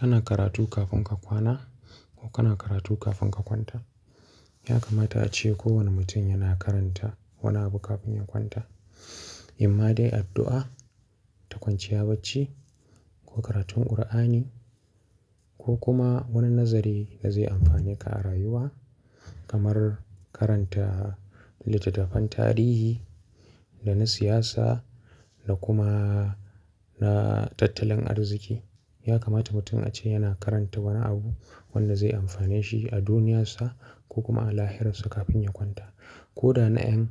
Kana karatu kafin ka kwana ko kana karatu kafin ka kwanta. Ya kamata ace kowane mutum yana karanta wani abu kafin ya kwanta. Imma dai addu'a, ta kwanciya bacci ko karatun ƙur'ani ko kuma wani nazari da zai amfane ka a rayuwa kamar karanta littattafan tarihi da na siyasa da kuma na tattalin arziki. Ya kamata mutum ace yana karanta wani abu wanda zai amfane shi a duniyarsa ko kuma a lahirarsa kafin ya kwanta. Ko da na ƴan